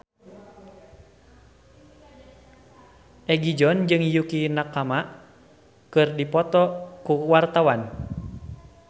Egi John jeung Yukie Nakama keur dipoto ku wartawan